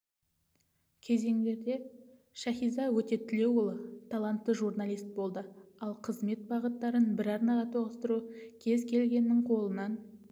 кезеңдерде шәкизада өтетілеуұлы талантты журналист болды ал қызмет бағыттарын бір арнаға тоғыстыру кез келгеннің қолынан